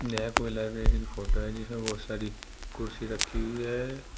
यह कोई library photo है जिसमें बहोत सारी कुर्सी रखी हुई है।